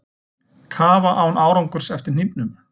Kafa án árangurs eftir hnífnum